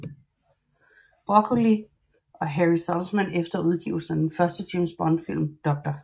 Broccoli og Harry Saltzman efter udgivelsen af den første James Bond film Dr